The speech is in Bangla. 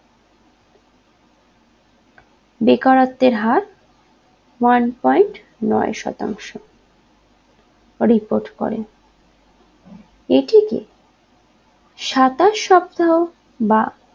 বেকারত্বের হার one point নয় শতাংশ report করেন এটিকে সাতাশ সপ্তাহ বা